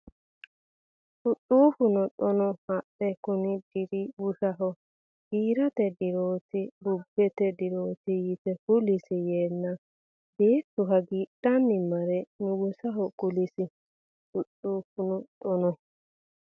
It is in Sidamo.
Dhudhuufuno Xaano hadhe kuni diri bushaho giirate dirooti bubbete dirooti yite kulisi yeenna beettu hagiidhanni mare nugusaho kulisi Dhudhuufuno Xaano.